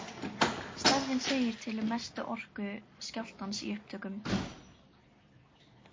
Stærðin segir til um mestu orku skjálftans í upptökum.